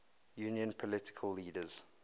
union political leaders